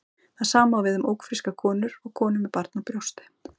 Það sama á við um ófrískar konur og konur með barn á brjósti.